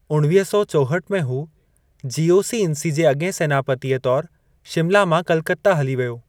उणिवीह सौ चोहठि में, हू जीओसी-इन्सी जे अॻिएं सेनापतिअ तौर शिमला मां कलकत्ता हली वियो।